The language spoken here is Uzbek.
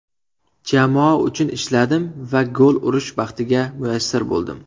Jamoa uchun ishladim va gol urish baxtiga muyassar bo‘ldim.